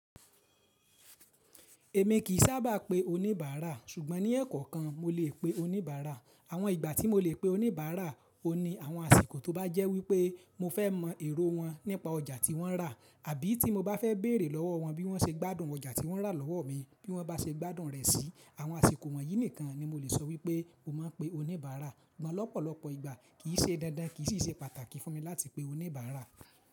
Èmi kì í sábà pe oníbàárà, ṣùgbọ́n ní èèkàn kan mo lè pe oníbàárà. Àwọn ìgbà tí mo lè pe oníbàárà ò ní àwọn àsìkò tó bá jẹ́ wípé mo fẹ́ mọ èrò wọn nípa ọjà tí wọ́n rà àbí tí mo bá fẹ́ bèrè lọ́wọ́ wọn bí wọ́n ṣe gbádùn ọjà tí wọ́n rà lọ́wọ́ mi bí wọ́n bá ṣe gbádùn rẹ̀ sí. Àwọn àsìkò wọ̀nyí nìkan ni mo lè sọ wípé mo máa ń pe oníbàárà. Àmọ́ lọ́pọ̀lọpọ̀ ìgbà kì í ṣe dandan, kì í sì ṣe pàtàkì fún mi láti pe oníbàárà.